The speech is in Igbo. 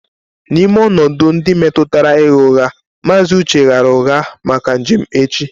N'ime ọnọdụ ndị metụtara ịgha ụgha, Mr. Uche ghaara ụgha maka njem echi